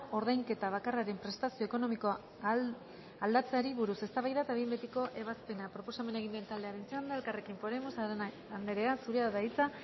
ordainketa bakarraren prestazio ekonomikoa aldatzeari buruz eztabaida eta behin betiko ebazpena proposamena egin duen taldearen txanda elkarrekin podemos arana anderea zurea da hitza